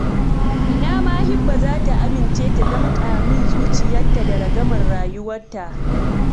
Ina ma Hibba za ta amince ta damƙa min zuciyarta da ragamar rayuwarta